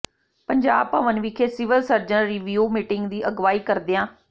ਪੰਜਾਬ ਭਵਨ ਵਿਖੇ civil surgeons review meeting ਦੀ ਅਗਵਾਈ ਕਰਦਿਆਂ ਸ